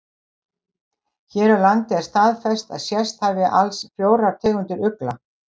Hér á landi er staðfest að sést hafi alls fjórar tegundir ugla.